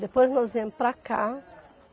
Depois nós viemos para cá.